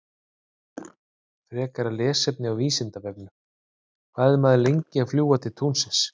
Frekara lesefni á Vísindavefnum: Hvað er maður lengi að fljúga til tunglsins?